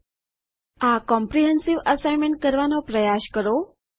000849 000842 આ comprehensive test assignment કરવાનો પ્રયાસ કરો